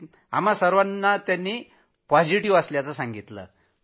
आम्हा सर्वांना त्यांनी पॉझिटिव्ह असल्याचं सांगितलं